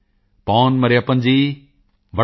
ਪੋਨ ਮਰਿਯੱਪਨ ਜੀ ਵਣੱਕਮ ਤੁਸੀਂ ਕਿਵੇਂ ਹੋ